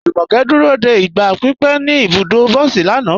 Jùmọ́kẹ́ dúró dé igba pípẹ̀ ní ibùdọ̀ bọ̀sí lànà.